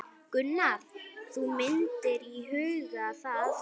Gunnar: Þú myndir íhuga það?